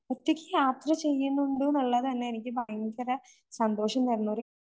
ഒറ്റയ്ക്ക് യാത്ര ചെയ്യന്നുണ്ടൂന്നുള്ളതു തന്നെ എനിക്ക് ഭയങ്കരം ഒരു സന്തോഷം തരുന്നൊരു